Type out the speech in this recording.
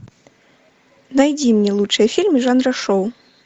найди мне лучшие фильмы жанра шоу